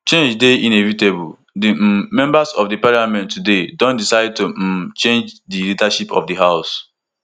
change dey inevitable di um members of di parliament today don decide to um change di leadership of di house